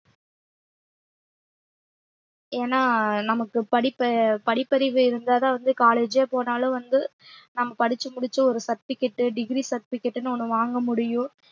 ஏன்னா நமக்கு படிப்பு~ படிப்பறிவு இருந்தாதான் வந்து college ஏ போனாலும் வந்து நம்ம படிச்சு முடிச்சு ஒரு certificate degree certificate ன்னு ஒண்ணு வாங்க முடியும்